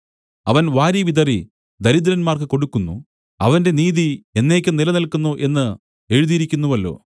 അവൻ വാരിവിതറി ദരിദ്രന്മാർക്ക് കൊടുക്കുന്നു അവന്റെ നീതി എന്നേക്കും നിലനില്ക്കുന്നു എന്ന് എഴുതിയിരിക്കുന്നുവല്ലോ